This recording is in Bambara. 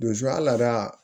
a lada